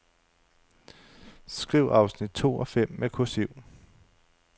Skriv afsnit to og fem med kursiv.